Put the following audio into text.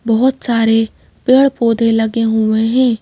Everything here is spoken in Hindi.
बहुत सारे पेड़-पौधे लगे हुए हैं ।